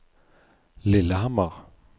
Lillehammer